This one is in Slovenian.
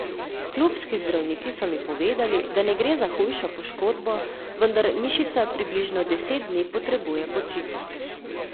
Klubski zdravniki so mi povedali, da ne gre za hujšo poškodbo, vendar mišica približno deset dni potrebuje počitek.